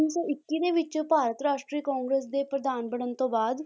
ਸੌ ਇੱਕੀ ਦੇ ਵਿੱਚ ਭਾਰਤ ਰਾਸ਼ਟਰੀ ਕਾਂਗਰਸ ਦੇ ਪ੍ਰਧਾਨ ਬਣਨ ਤੋਂ ਬਾਅਦ